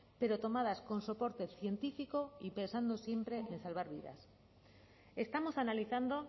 pero tomadas con soporte científico y pensando siempre en salvar vidas estamos analizando